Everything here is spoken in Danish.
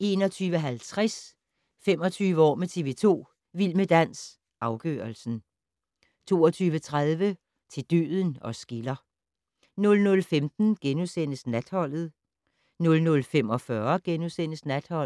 21:50: 25 år med TV 2: Vild med dans - afgørelsen 22:30: Til døden os skiller 00:15: Natholdet * 00:45: Natholdet *